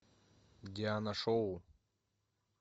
диана шоу